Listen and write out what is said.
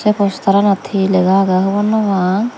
ei postaranot hi lega agey hobor naw pang.